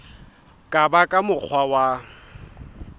ka ba ka mokgwa wa